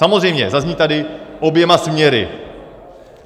Samozřejmě, zazní tady oběma směry.